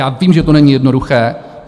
Já vím, že to není jednoduché.